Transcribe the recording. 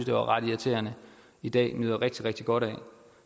det var ret irriterende i dag nyder rigtig rigtig godt